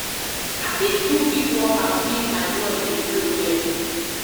I fit do quick workout, make my blood dey flow well.